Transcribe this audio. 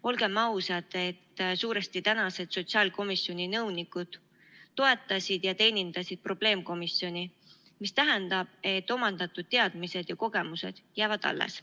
Olgem ausad, et suuresti tänased sotsiaalkomisjoni nõunikud toetasid ja teenindasid probleemkomisjoni, mis tähendab, et omandatud teadmised ja kogemused jäävad alles.